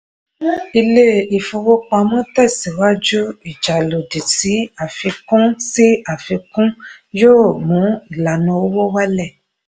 ilé-ìfowópamọ́ tẹ̀síwájú ìjà lòdì sí àfikún sí àfikún yóò mú ìlànà owó wálẹ̀.